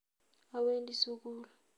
Awendi sugul